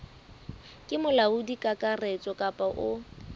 ke molaodi kakaretso kapa o